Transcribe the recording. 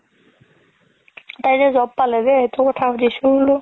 তাই যে job পালে যে সেইটো কথা সুধিছো বুলো